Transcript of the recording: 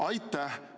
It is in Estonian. "Aitäh!